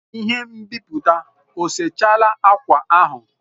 Ihe nbiputa o sechala akwa ahụ?